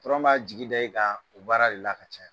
b'a jigi d'i kan baara de la ka caya